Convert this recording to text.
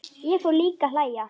Ég fór líka að hlæja.